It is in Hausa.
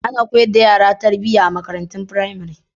Ana koyar da yara tarbiyya a makarantun firamare.